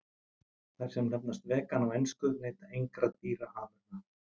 Þær sem nefnast vegan á ensku neyta engra dýraafurða.